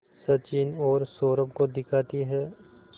सचिन और सौरभ को दिखाती है